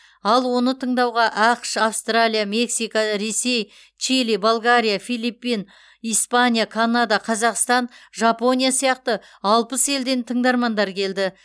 ал оны тыңдауға ақш австралия мексика ресей чили болгария филиппин испания канада қазақстан жапония сияқты алпыс елден тыңдармандар келді